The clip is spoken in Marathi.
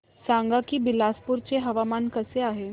सांगा की बिलासपुर चे हवामान कसे आहे